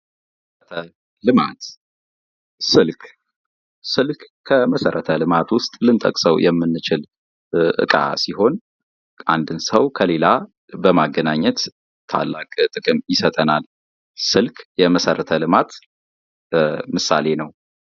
ልማት ስልክ ስልክ ከመሰረተ ልማት ዉስጥ ልንጠቅሰው የምንችል እቃ ሲሆን አንድ ሰው ከሌላ በማገናኘት ታላቅ ጥቅም ይሰጠናል። ስልክ የመሰረተ ልማት ምሳሌ ነው።